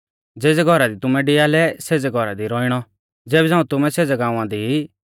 ज़ेज़ै घौरा दी तुमैं डिआलै सेज़ै घौरा दी रौइणौ ज़ेबी झ़ांऊ तुमै सेज़ै गाँवा दी ई